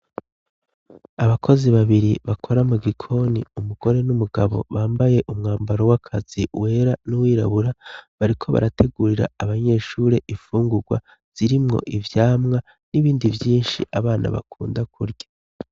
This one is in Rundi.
Abakozi babiri bakora mu gikoni umugore n'umugabo bambaye umwambaro w'akazi wera n'uwirabura, bariko barategurira abanyeshure infungurwa zirimwo ivyamwa n'ibindi vyinshi abana bakunda kurya.